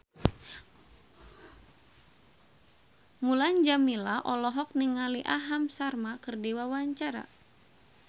Mulan Jameela olohok ningali Aham Sharma keur diwawancara